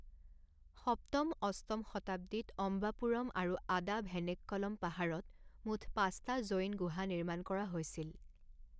সপ্তম অষ্টম শতাব্দীত অম্বাপুৰম আৰু আদাভেনেক্কলম পাহাৰত মুঠ পাঁচটা জৈন গুহা নিৰ্মাণ কৰা হৈছিল।